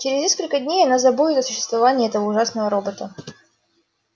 через несколько дней она забудет о существовании этого ужасного робота